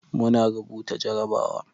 Muna rubuta jarabawa.